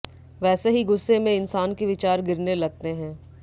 वैसे ही गुस्से में इंसान के विचार गिरने लगते हैं